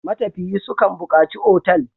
Matafiyi su kan buƙaci otal.